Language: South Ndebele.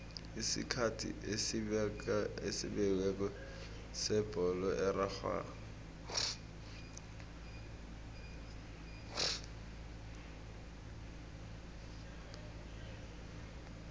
isikhathi esibekiweko sebholo erarhwako